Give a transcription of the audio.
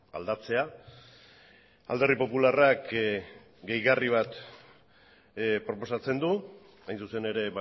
aldatzea alderdi popularrak gehigarri bat proposatzen du hain zuzen ere